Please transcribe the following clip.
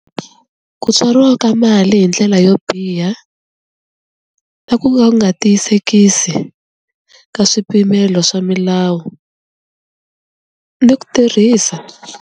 Ku tswariwa ka mali hi ndlela yo biha ta ku ka u nga tiyisekisi ka swipimelo swa milawu ni ku tirhisa.